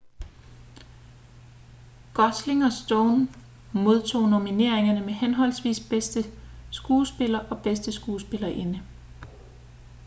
gosling og stone modtog nomineringer som henholdsvis bedste skuespiller og bedste skuespillerinde